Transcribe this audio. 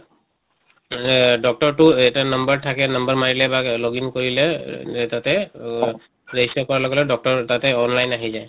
এহ doctor টো এটা number থাকে number মাৰিলে বা login কৰিলে এহ তাতে অহ register কৰা লগে লগে doctor online আহি যায়।